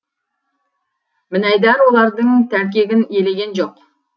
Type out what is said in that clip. мінайдар олардың тәлкегін елеген жоқ